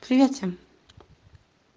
привет всем